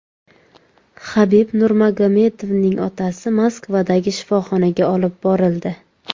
Habib Nurmagomedovning otasi Moskvadagi shifoxonaga olib borildi.